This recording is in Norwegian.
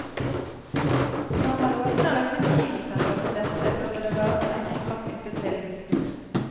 Når man åpner et nytt kinosenter som dette, burde det være noe ekstra knyttet til den.